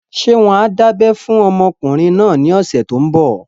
Ṣé wọ́n á dábẹ́ fún ọmọkùnrin náà ní ọ̀sẹ̀ tó n bọ̀?